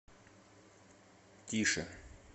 тише